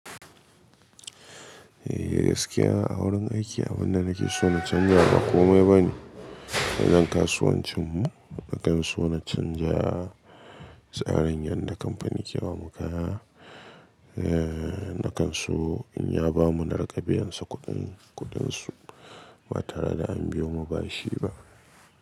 Eh gaskiya a wurin aiki abunda nake so na canja ba komai bane. A nan kasuwancinmu, nakan so na canja tsarin yanda kampani ke ba mu kaya. Eh, nakan so in ya ba mu na raƙa biyan sa kuɗin, kuɗin su ba tare da an bi mu ba shi ba.